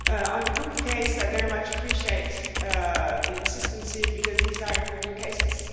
On the Google case, I very much appreciate the insistence, because these are important cases.